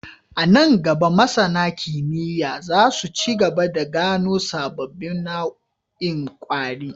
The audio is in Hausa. A nan gaba, masAna kimiyya za su ci gaba da gano sababbin nau'in kwari